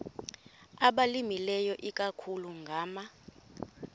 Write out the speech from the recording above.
abalimileyo ikakhulu ngama